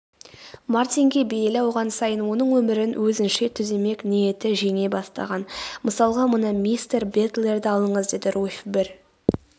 мартинге бейілі ауған сайын оның өмірін өзінше түземек ниеті жеңе бастаған.мысалға мына мистер бэтлерді алыңыз деді руфь бір